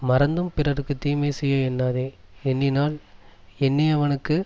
மறந்தும் பிறர்க்கு தீமை செய்ய எண்ணாதே எண்ணினால் எண்ணியவனுக்கு